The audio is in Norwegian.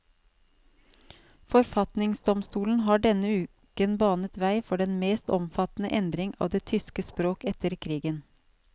Forfatningsdomstolen har denne uken banet vei for den mest omfattende endring av det tyske språk etter krigen.